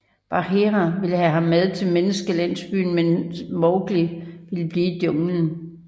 Bagheera ville have ham med til menneskelandsbyen men Mowgli ville blive i junglen